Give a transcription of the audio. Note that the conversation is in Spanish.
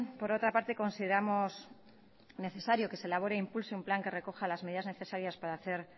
por otra parte consideramos necesario que se elabore e impulse un plan que recoja las medidas necesarias para hacer